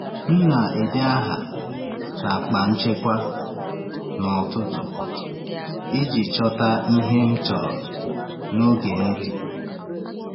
M na-ede aha n’akpa nchekwa n’ọtụtù iji chọta ihe m chọrọ n’oge nri.